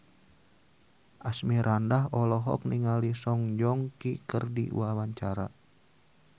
Asmirandah olohok ningali Song Joong Ki keur diwawancara